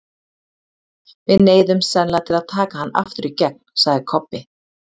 Við neyðumst sennilega til að taka hann aftur í gegn, sagði Kobbi.